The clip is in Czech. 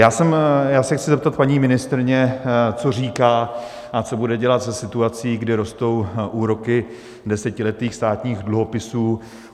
Já se chci zeptat paní ministryně, co říká a co bude dělat se situací, kdy rostou úroky desetiletých státních dluhopisů.